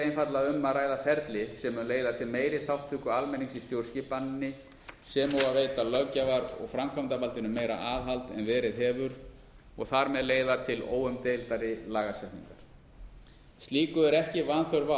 einfaldlega um að ræða ferli sem mun leiða til meiri þátttöku almennings í stjórnskipaninni sem og að veita löggjafar og framkvæmdarvaldinu meira aðhald en verið hefur og þar með leiða til óumdeildari lagasetningar slíku er ekki vanþörf